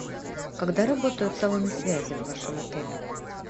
когда работают салоны связи в вашем отеле